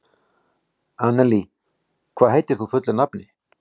Annelí, hvað heitir þú fullu nafni?